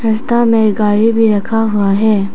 रास्ता में गाड़ी भी रखा हुआ है।